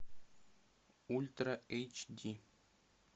ультра эйч ди